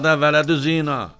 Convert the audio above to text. Adə, vələdüzina!